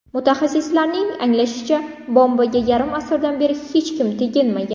Mutaxassislarning aniqlashicha, bombaga yarim asrdan beri hech kim teginmagan.